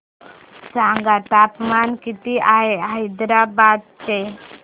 सांगा तापमान किती आहे हैदराबाद चे